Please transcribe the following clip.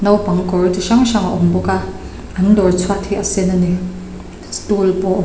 naupang kawr chi hrang hrang a awm bawk a an dawr chhuat hi a sen a ni situl pawh a awm --